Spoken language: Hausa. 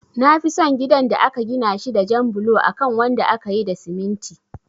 Nafi son gidan da aka gina shi da jan bulo akan wanda akayi da siminti